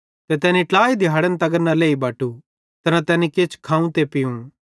ते तैनी ट्लाई दिहाड़न तगर न लेई बटू ते न तैनी किछ खाव ते पीव